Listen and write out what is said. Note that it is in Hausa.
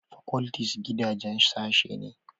Faculties gidaje sashen